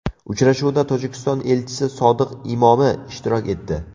Uchrashuvda Tojikiston elchisi Sodiq Imomi ishtirok etdi.